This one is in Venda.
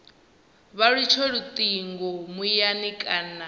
vha litsha lutingo muyani kana